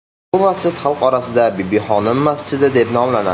Bu masjid xalq orasida Bibixonim masjidi deb nomlanadi.